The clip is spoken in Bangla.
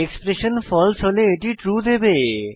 এক্সপ্রেশন ফালসে হলে এটি ট্রু দেবে